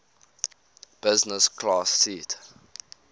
business class seat